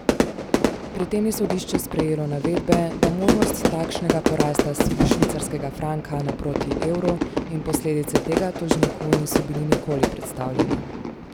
Pri tem je sodišče sprejelo navedbe, da možnost takšnega porasta švicarskega franka naproti evru in posledice tega tožniku niso bili nikoli predstavljeni.